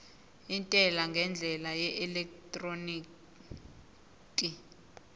intela ngendlela yeelektroniki